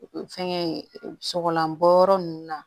Fɛnkɛ sɔgɔlan bɔ yɔrɔ ninnu na